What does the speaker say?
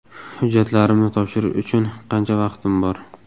Hujjatlarimni topshirish uchun qancha vaqtim bor?